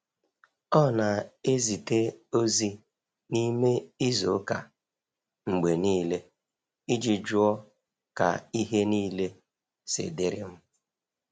Ọ na ezite ozi n’ime izu ụka mgbe niile iji jụọ ka ihe niile si dịrị m.